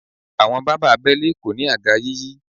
Àwọn bàbá abẹ́lé kò ní àga yíyí.